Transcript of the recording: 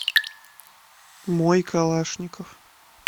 мой калашников